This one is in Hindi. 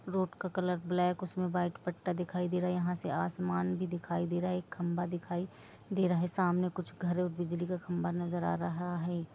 रोड का कलर ब्लैक उसमें व्हाइट पत्ता दिखाई दे रहा है यहां से आसमान भी दिखाई दे रहा है एक खंभा दिखाई दे रहा हैसामने कुछ घर और बिजली का खंबा नजर आ रहा है।